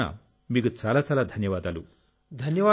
నా తరఫున మీకు చాలా చాలా ధన్యవాదాలు